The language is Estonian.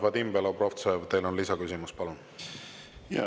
Vadim Belobrovtsev, teil on lisaküsimus, palun!